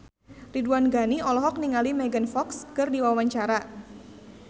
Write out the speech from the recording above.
Ridwan Ghani olohok ningali Megan Fox keur diwawancara